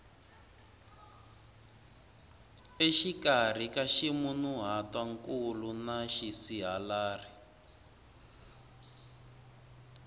exikarhi ka ximunhuhatwankulu na xisihalari